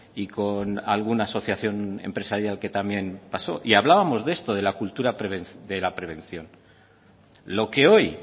y con alguna asociación empresarial que también pasó y hablábamos de esto de la cultura de la prevención lo que hoy